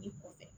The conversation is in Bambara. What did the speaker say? I kɔfɛ